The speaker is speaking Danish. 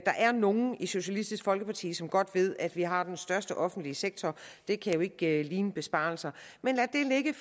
er nogle i socialistisk folkeparti som godt ved at vi har den største offentlige sektor det kan jo ikke ligne besparelser men lad det ligge